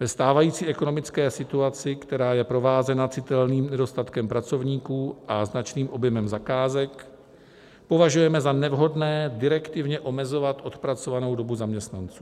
Ve stávající ekonomické situaci, která je provázena citelným nedostatkem pracovníků a značným objemem zakázek, považujeme za nevhodné direktivně omezovat odpracovanou dobu zaměstnanců.